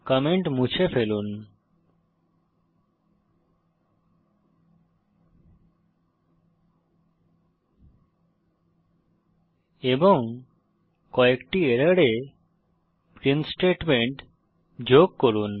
comment মুছে ফেলুন এবং কয়েকটি এররে প্রিন্ট স্টেটমেন্ট যোগ করুন